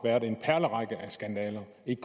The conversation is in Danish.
ikke